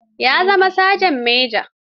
Ya zama Saja Manja.